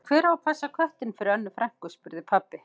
Og hver á að passa köttinn fyrir Önnu frænku? spurði pabbi.